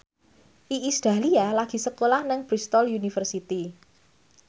Iis Dahlia lagi sekolah nang Bristol university